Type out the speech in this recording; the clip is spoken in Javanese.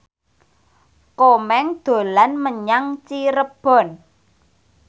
Komeng dolan menyang Cirebon